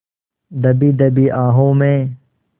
दबी दबी आहों में